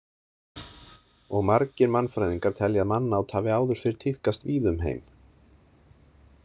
Og margir mannfræðingar telja að mannát hafi áður fyrr tíðkast víða um heim.